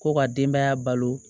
Ko ka denbaya balo